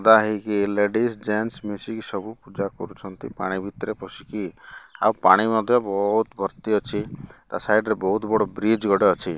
ଲମ୍ବା ହେଇକି। Ladies gents ମିଶିକି ସବୁ ପୂଜା କରୁଛନ୍ତି। ପାଣି ଭିତରେ ପଶିକି ଆଉ ପାଣି ମଧ୍ୟ ବହୁତ ଭର୍ତ୍ତି ଅଛି। ତା ସାଇଟ ରେ ବହୁତ ବଡ଼ ବ୍ରିଜ ଗୋଟେ ଅଛି।